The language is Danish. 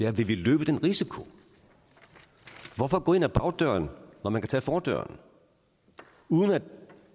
om vi vil løbe den risiko hvorfor gå ind ad bagdøren når man kan tage fordøren uden at